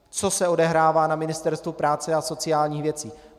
Co se odehrává na Ministerstvu práce a sociálních věcí.